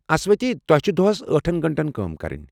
اسوتھی، تۄہہ چھِ دۄہس ٲٹھن گنٛٹن کٲم کرٕنۍ۔